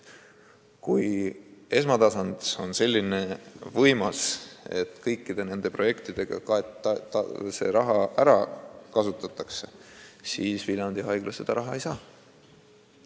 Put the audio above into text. Kui esmatasand on nii võimas, et see raha kasutatakse kõikide projektidega ära, siis Viljandi Haigla seda raha ei saa.